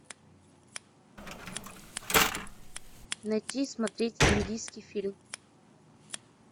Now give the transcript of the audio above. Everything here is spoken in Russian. найти и смотреть индийский фильм